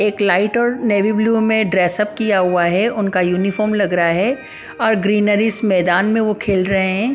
एक लाइट और navy blue में ड्रेस अप किया हुआ है उनका यूनिफॉर्म लग रहा है और ग्रीनरीजस मैदान में वो खेल रहे हैं ।